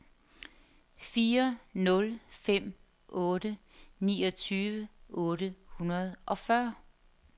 fire nul fem otte niogtyve otte hundrede og fyrre